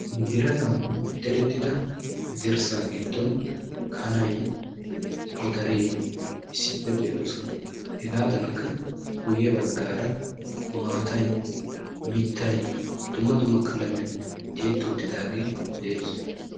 Biratan direttida dirssaa giddon kanay, godaree issippe de'oosona. Hegaadankka guyye baggaara maatay, mittay dumma dumma qalamiyan tiyettidi uttidaage de'ees.